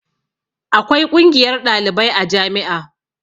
Akwai ƙungiyar ɗalibai a jami'a